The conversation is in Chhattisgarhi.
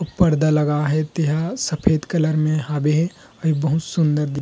अउ पर्दा लगा हे तेहा सफ़ेद कलर हावे हे ये बहुत सुन्दर दिखत--